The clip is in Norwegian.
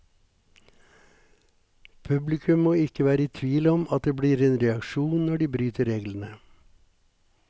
Publikum må ikke være i tvil om at det blir en reaksjon når de bryter reglene.